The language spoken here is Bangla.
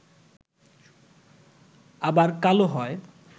আবার কালো হয়